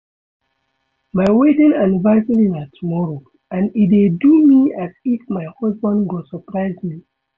My wedding anniversary na tomorrow and e dey do me as if my husband go surprise me